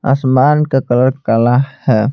आसमान का कलर काला है।